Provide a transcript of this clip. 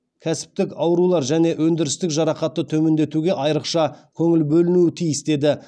кәсіптік аурулар мен өндірістік жарақатты төмендетуге айырықша көңіл бөлінуі тиіс деді